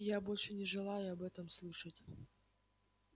и я больше не желаю об этом слышать